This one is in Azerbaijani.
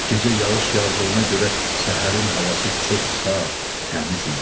Gecə yağış yağdığına görə səhərin havası çox saf, təmiz idi.